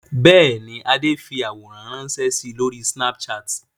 Bẹ́ẹ̀ ni, Adé fi àwòrán ránṣẹ́ si lórí Snapchat.